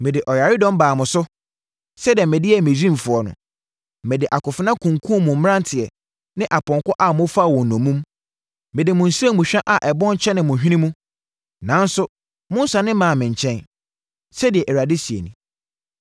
“Mede ɔyaredɔm baa mo so sɛdeɛ mede yɛɛ Misraimfoɔ no, mede akofena kunkumm mo mmeranteɛ ne apɔnkɔ a mofaa wɔn nnommum. Mede mo nsramu hwa a ɛbɔn hyɛnee mo hwene mu, nanso, monnsane mmaa me nkyɛn,” sɛdeɛ Awurade seɛ nie.